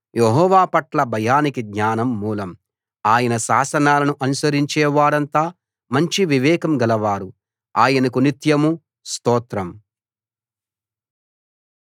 యెహోవా పట్ల భయం జ్ఞానానికి మూలం ఆయన శాసనాలను అనుసరించేవారంతా మంచి వివేకం గలవారు ఆయనకు నిత్యం స్తోత్రం